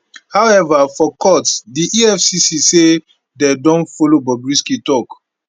however for court di efcc say dem don follow bobrisky tok